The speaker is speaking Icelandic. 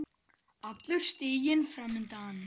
Allur stiginn fram undan.